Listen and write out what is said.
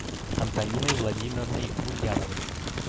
антониной владимировной ульяновой